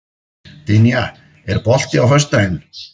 Dynja, er bolti á föstudaginn?